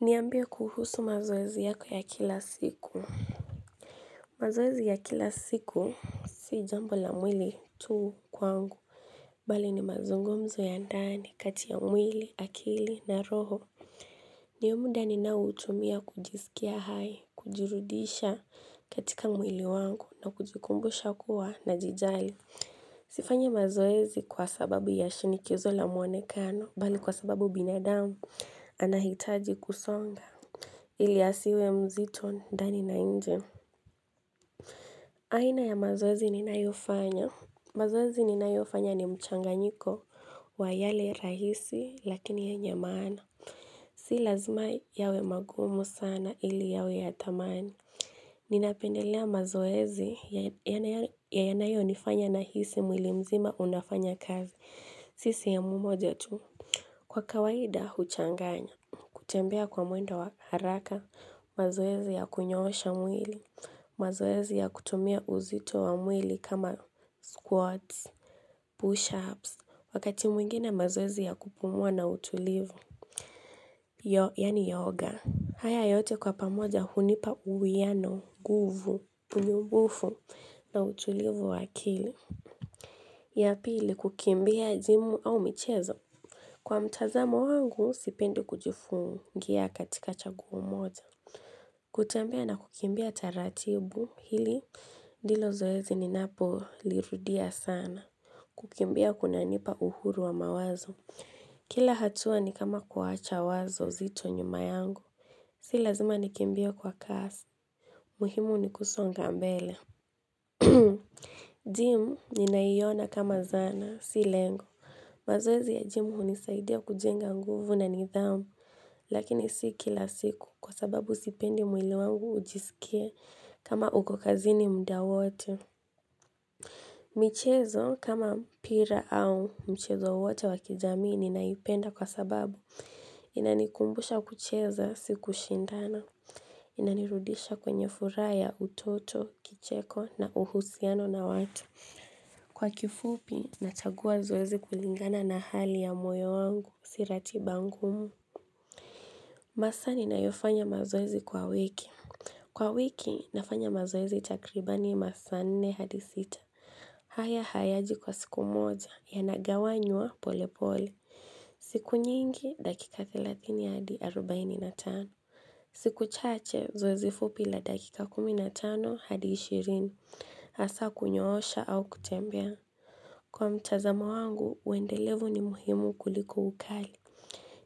Niambie kuhusu mazoezi yako ya kila siku mazoezi ya kila siku si jambo la mwili tu kwangu mbali ni mazungumzo ya ndani kati ya mwili akili na roho Ndio muda ninaoutumia kujisikia hai kujirudisha katika mwili wangu na kujikumbusha kuwa najijali Sifanyi mazoezi kwa sababu ya shinikizo la muonekano bali kwa sababu binadamu anahitaji kusonga ili asiwe mzito ndani na nje. Aina ya mazoezi ninayofanya mazoezi ninayofanya ni mchanganyiko wa yale rahisi lakini yenye maana. Si lazima yawe magumu sana ili yawe ya tamani. Ninapendelea mazoezi ya yanayonifanya nahisi mwili mzima unafanya kazi. Sisi ya mumoja tu. Kwa kawaida huchanganya. Kutembea kwa mwendo wa haraka, mazoezi ya kunyoosha mwili, mazoezi ya kutumia uzito wa mwili kama squats, push-ups, wakati mwingine mazoezi ya kupumua na utulivu, yani yoga. Haya yote kwa pamoja hunipa uwiano, guvu, punyumbufu na utulivu wa akili. Ya pili kukimbia jimu au michezo. Kwa mtazamo wangu, sipendi kujifungia katika chaguo moja kutembea na kukimbia taratibu hili, ndilo zoezi ninapolirudia sana. Kukimbia kunanipa uhuru wa mawazo. Kila hatua ni kama kuwacha wazo zito nyuma yangu. Si lazima nikimbie kwa kasi muhimu ni kusonga mbele. Gym ninaiona kama zana, si lengo. Mazoezi ya jimu hunisaidia kujenga nguvu na nidhamu, lakini si kila siku kwa sababu sipendi mwili wangu ujisikie kama uko kazini muda wote. Michezo kama mpira au mchezo wote wa kijamii ninaipenda kwa sababu, inanikumbusha kucheza si kushindana, inanirudisha kwenye furaha ya utoto, kicheko na uhusiano na watu. Kwa kifupi, nachagua zoezi kulingana na hali ya moyo wangu, si ratiba ngumu masaa ninayofanya mazoezi kwa wiki. Kwa wiki, nafanya mazoezi takribani masaa nne hadi sita. Haya hayaji kwa siku moja, yanagawanywa pole pole. Siku nyingi dakika 30 hadi 45. Siku chache zoezi fupi la dakika 15 hadi 20. Hasaa kunyoosha au kutembea. Kwa mtazamo wangu, uendelevu ni muhimu kuliko ukali.